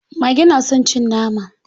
Mage na son cin nama.